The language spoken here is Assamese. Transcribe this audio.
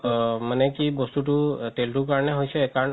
অ মানে কি বস্তুতো তেলতোৰ কাৰণে হৈছে কাৰণ